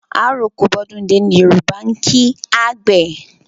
Àroko bọ́dúndé ni Yòrùbá ń kí àgbẹ̀